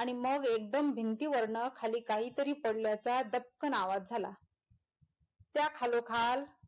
आणि मग एगदम भिंतीवरन काहीतरी पडल्याचा दपकंन आवाज झाला त्या खालोखाल,